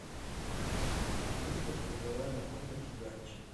выставь в умывальной комнате ярче